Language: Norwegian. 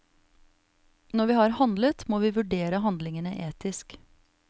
Når vi har handlet, må vi vurdere handlingene etisk.